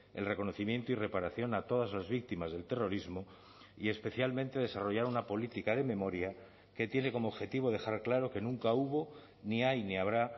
el reconocimiento y reparación a todas las víctimas del terrorismo y especialmente desarrollar una política de memoria que tiene como objetivo dejar claro que nunca hubo ni hay ni habrá